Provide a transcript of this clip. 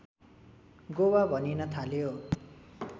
गोवा भनिन थाल्यो